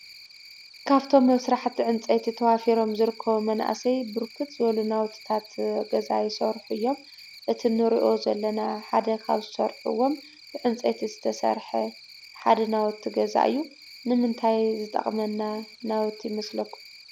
ካፍቶም ኣብ ስራሕቲ ዕንፀይቲ ተዋፊሮም ዝርከቡ መናእሰይ ብርክት ዝበሉ ናዉትታት ገዛ ይሰርሑ እዮም። እቲ ንሪኦ ዘለና ሓደ ካብ ዝሰርሕዎም ብዕንፀይቲ ዝተሰርሐ ሓደ ናዉቲ ገዛ እዩ። ንምንታይ ዝጠቕመና ናዉቲ ይመስለኩም?